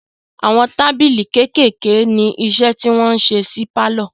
Àwọn tábìlì kékèèké ní iṣẹ́ tí wọn ń ṣe nínu pálọ̀.